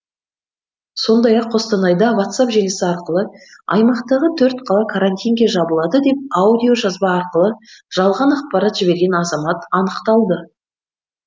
сондай ақ қостанайда ватсап желісі арқылы аймақтағы төрт қала карантинге жабылады деп аудиожазба арқылы жалған ақпарат жіберген азамат анықталды